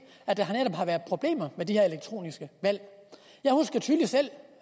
at der i har været problemer med de her elektroniske valg jeg husker tydeligt selv